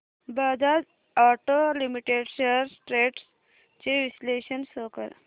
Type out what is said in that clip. Bajaj auto limited shares trends चे विश्लेषण show कर